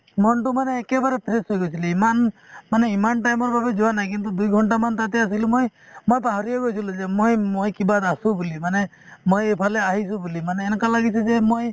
মনতো মানে একেবাৰে fresh হৈ গৈছিলে ইমান মানে ইমান time ৰ বাবে যোৱা নাই কিন্তু দুইঘণ্টা মান তাতে আছিলো মই~ মই পাহৰিয়ে গৈছিলো যে মই~ মই কিবাত আছো বুলি মানে মই এইফালে আহিছো বুলি মানে এনেকুৱা লাগিছে যে মই